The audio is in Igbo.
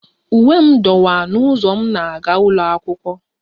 Uwe m dọwaa n'ụzọ m na-aga ụlọ akwụkwọ